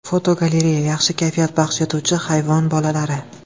Fotogalereya: Yaxshi kayfiyat baxsh etuvchi hayvon bolalari.